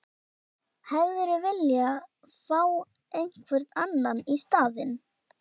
Hefðirðu vilja fá einhvern annan í staðinn?